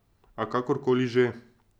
A, kakor koli že.